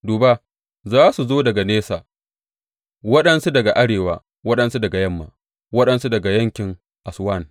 Duba, za su zo daga nesa waɗansu daga arewa, waɗansu daga yamma, waɗansu daga yankin Aswan.